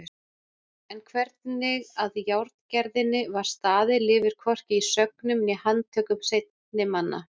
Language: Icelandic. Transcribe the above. En hvernig að járngerðinni var staðið lifir hvorki í sögnum né handtökum seinni manna.